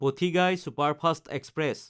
Pothigai superfast express